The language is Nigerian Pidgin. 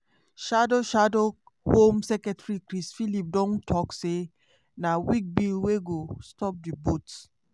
shadow shadow home secretary chris philip don tok say na "weak bill wey go stop di boats".